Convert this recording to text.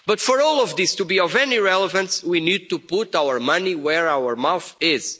But for all of this to be of any relevance, we need to put our money where our mouth